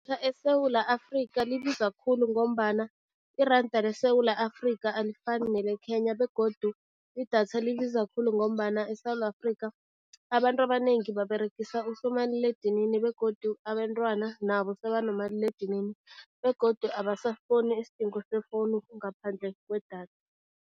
ESewula Afrika libiza khulu ngombana iranda leSewula Afrika alifani nele-Kenya begodu, idatha libiza khulu ngombana eSewula Afrika abantu abanengi baberegisa usomaliledinini begodu abentwana nabo sebanomaliledinini begodu abasaboni isidingo sefowunu ngaphandle kwedatha.